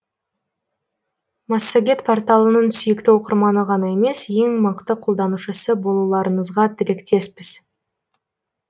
массагет порталының сүйікті оқырманы ғана емес ең мықты қолданушысы болуларыңызға тілектеспіз